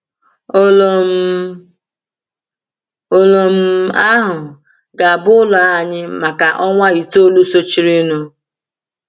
Ụlù um ahụ ga-abụ ụlọ anyị maka ọnwa itoolu sochirinụ.